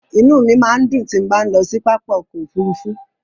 Inú mi máa ń dùn tí bá ń lọ sí pápá ọkọ̀ Òfurufú.